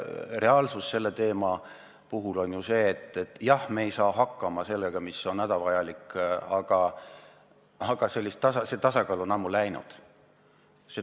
Reaalsus selle teema puhul on see, et jah, me ei saa hakkama sellega, mis on hädavajalik – see tasakaal on ammu läinud.